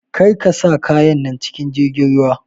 Karka sa kayan nan cikin jirgin ruwa!